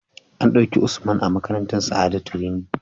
An dauki Usman a makarantar sa'adatu rimi